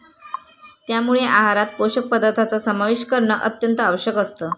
त्यामुळे आहारात पोषक पदार्थांचा समावेश करणं अत्यंत आवश्यक असतं.